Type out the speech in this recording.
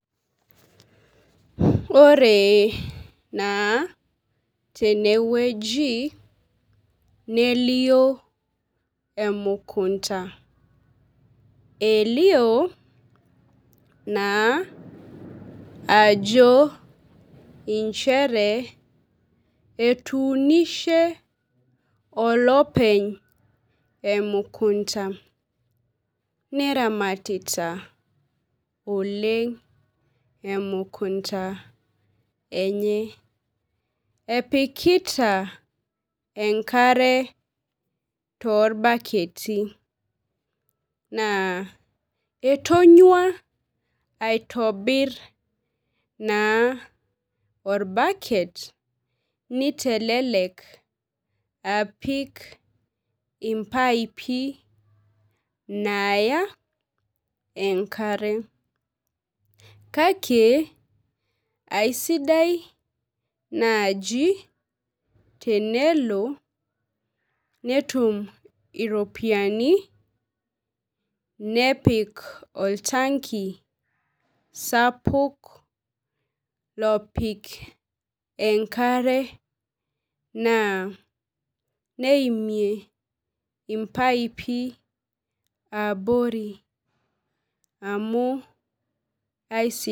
Ore naa tenewueji nelio emukunta , elio naa ajo inchere etuunishe olopeny emukunta , neramatita oleng emukunta enye , epikita enkare torbaketi , naa entonyua naa aitobir naa orbaket nitelelek apik impaipi naya enkare , kake aisidai naji tenelo netum iropiyiani nepik oltanki sapuk lopik enkare naa neimie impaipi abori amu aisidai.